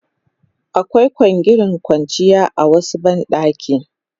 Akwai kwangirin kwanciya a wasu ban ɗakin.